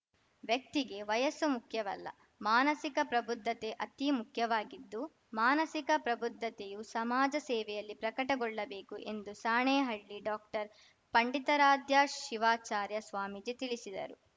ವ್ಯಕ್ತಿಗೆ ವಯಸ್ಸು ಮುಖ್ಯವಲ್ಲ ಮಾನಸಿಕ ಪ್ರಬುದ್ಧತೆ ಅತೀ ಮುಖ್ಯವಾಗಿದ್ದು ಮಾನಸಿಕ ಪ್ರಬುದ್ಧತೆಯು ಸಮಾಜ ಸೇವೆಯಲ್ಲಿ ಪ್ರಕಟಗೊಳ್ಳಬೇಕು ಎಂದು ಸಾಣೇಹಳ್ಳಿ ಡಾಕ್ಟರ್ಪಂಡಿತಾರಾಧ್ಯ ಶಿವಾಚಾರ್ಯ ಸ್ವಾಮೀಜಿ ತಿಳಿಸಿದರು